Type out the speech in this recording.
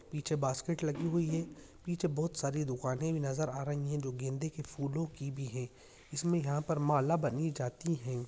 पीछे बास्केट लगी हुई है। पीछे बहुत दुकान सारे भी नजर आ रही है। जो गेंदे की फूलों की भी है। इसमें यहाँ पर माला बानी जाती है।